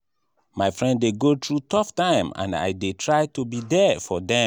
my friend dey go through tough time and i dey try to be there for dem emotionally.